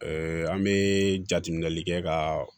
an bɛ jateminɛli kɛ ka